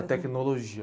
A tecnologia.